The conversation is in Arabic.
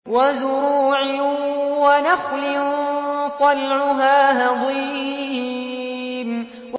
وَزُرُوعٍ وَنَخْلٍ طَلْعُهَا هَضِيمٌ